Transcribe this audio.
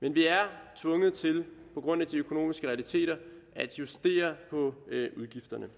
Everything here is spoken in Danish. men vi er tvunget til på grund af de økonomiske realiteter at justere på udgifterne